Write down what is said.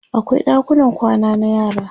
akwai ɗakunan kwana na yara